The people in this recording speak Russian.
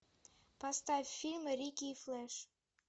поставь фильм рики и флэш